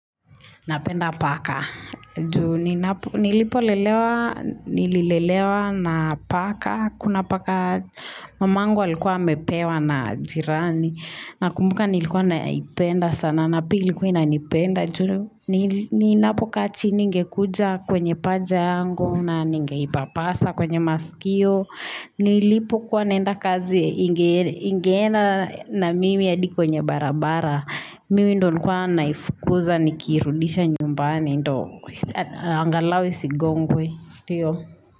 Napenda paka, juu nilipo lelewa, nililelewa na paka, kuna paka, mamangu alikuwa amepewa na jirani, na kumbuka nilikuwa naipenda sana, napia ilikuwa inanipenda, juu ninapo kaa chini ingekuja kwenye paja yangu, na ninge ipapasa kwenye masikio, nilipo kuwa naenda kazi ingena na mimi hadi kwenye barabara, mimi ndo nilikuwa naifukuza nikiirudisha nyumbani ndo angalau isigongwe.